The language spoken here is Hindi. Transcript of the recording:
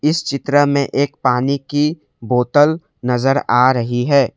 इस चित्र में एक पानी की बोतल नजर आ रही है।